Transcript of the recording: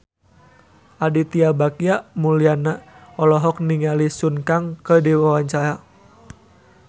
Aditya Bagja Mulyana olohok ningali Sun Kang keur diwawancara